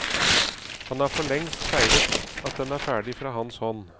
Han har forlengst feiret at den er ferdig fra hans hånd.